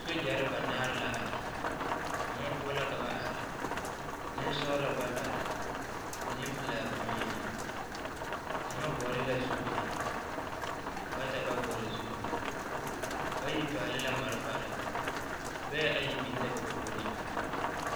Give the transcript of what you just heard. Sogyare ba naare moɔ poɔ la ka ba are nensɔgelo bata la nempelaa boŋyeni kaŋa vɔgle la zupili bata ba vɔgle zupili bayi pɛgle la malfare lɔɛ ayi biŋ la ba puoriŋ.